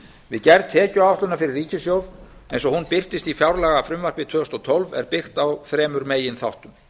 við gerð tekjuáætlunar fyrir ríkissjóð eins og hún birtist í fjárlagafrumvarpi tvö þúsund og tólf er byggt á þremur meginþáttum